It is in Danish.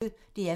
DR P1